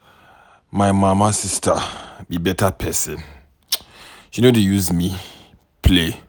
My mama sister be better person, she no dey use me play.